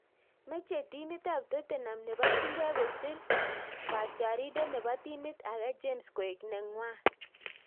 Meche timit AP totenam nebo chumbek kosir katyiarindet nebo timit ake James koek nengwang